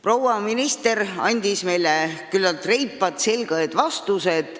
Proua minister andis meile küllalt reipad ja selged vastused.